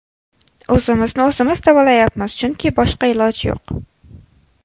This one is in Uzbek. O‘zimizni o‘zimiz davolayapmiz, chunki boshqa iloj yo‘q.